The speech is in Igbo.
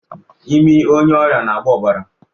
Imi onye ọrịa na-agba ọbara